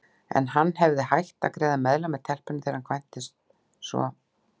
En hann hefði hætt að greiða meðlag með telpunni þegar hann kvæntist, svo